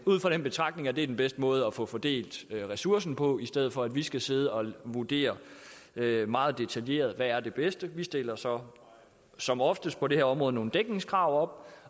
ud fra den betragtning at det er den bedste måde at få fordelt ressourcen på i stedet for at vi skal sidde og vurdere meget detaljeret hvad der er det bedste vi stiller som som oftest på det her område nogle dækningskrav